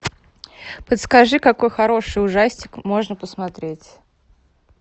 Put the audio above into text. подскажи какой хороший ужастик можно посмотреть